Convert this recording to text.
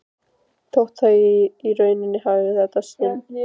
Þótti það í rauninni hæfa í þetta sinn.